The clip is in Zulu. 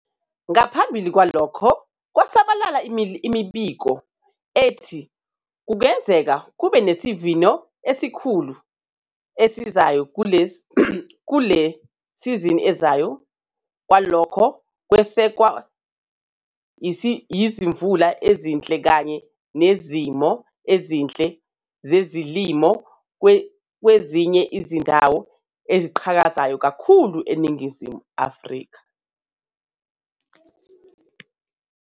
Ngaphambili kwalokho kwasabalala imibiko ethi kungenzeka kube nesivuno esikhulu esizayo kule sizini ezayo lokho kwesekwa yizimvula ezinhle kanye nezimo ezinhle zezilimo kwezinye izindawo ezikhiqizayo kakhulu eNingizimu Afrika.